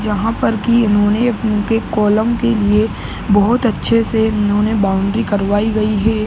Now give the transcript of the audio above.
जहाँ पर कि इन्होने उनके कोलौम के लिए बहुत अच्छे से इन्होने बाउंड्री कारवाई गयी है।